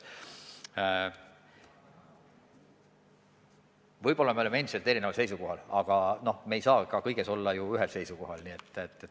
Võib-olla me oleme endiselt erineval seisukohal, aga me ei saagi kõiges olla ühel seisukohal.